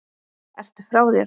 Ertu frá þér??